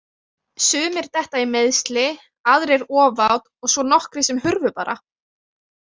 Sumir detta í meiðsli, aðrir ofát og svo nokkrir sem hurfu bara.